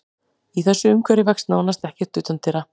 Í þessu umhverfi vex nánast ekkert utandyra.